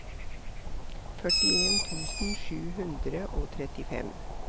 førtien tusen sju hundre og trettifem